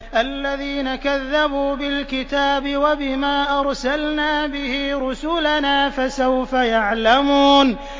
الَّذِينَ كَذَّبُوا بِالْكِتَابِ وَبِمَا أَرْسَلْنَا بِهِ رُسُلَنَا ۖ فَسَوْفَ يَعْلَمُونَ